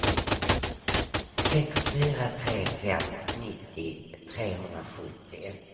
sex fyra tre fem nittio trehundrasjuttio